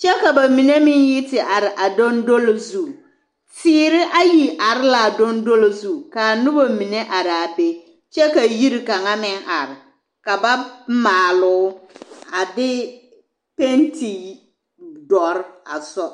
kyɛ ka ba mine meŋ yi te are a dondolo zu teere ayi are laa dondolo zu kaa nobɔ mine araa be kyɛ ka yiri kaŋa meŋ are ka ba maaloo a de penti dɔre a sɔ.